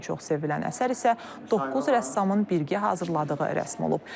Ən çox sevilən əsər isə doqquz rəssamın birgə hazırladığı rəsm olub.